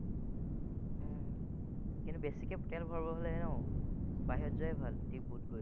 উম কিন্তু বেছিকে তেল ভৰাবলে হলে ন, বাহিৰত যোৱাই ভাল, দিপুত গৈ।